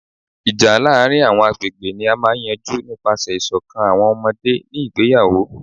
Ija laarin awọn agbegbe ni a maa n yanju nipasẹ iṣọkan awọn ọmọde ni igbeyawo